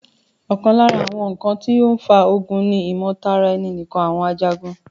ọ̀kan lára àwọn ǹkan tó n fa ogun ni ìmọ̀tara ẹni nìkan àwọn Ajagun